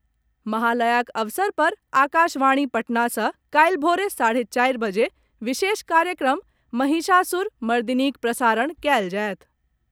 महालयाक अवसर पर आकाशवाणी पटना सॅ काल्हि भोर साढे चारि बजे विशेष कार्यक्रम महिषासुर मर्दिनीक प्रसारण कयल जायत।